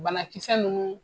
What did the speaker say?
Banakisɛ ninnu